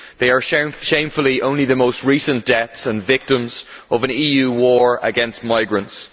They are shamefully only the most recent deaths and victims of an EU war against migrants.